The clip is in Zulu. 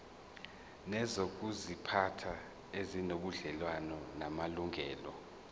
nezokuziphatha ezinobudlelwano namalungelo